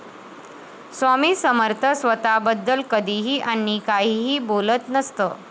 स्वामी समर्थ स्वतःबद्दल कधीही आणि काहीही बोलत नसत.